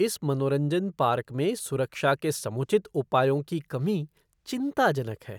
इस मनोरंजन पार्क में सुरक्षा के समुचित उपायों की कमी चिंताजनक है।